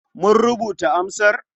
Mun rubuta amsar.